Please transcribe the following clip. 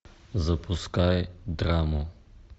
запускай драму